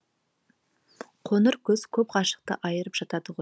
қоңыр күз көп ғашықты айырып жатады ғой